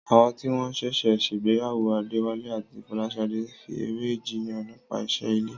Àwọn tí wọ́n ṣẹ̀ṣẹ̀ ṣègbéyàwó Adéwálé àti Fọláṣadé fi eré jiyàn nípa iṣẹ́ ilé.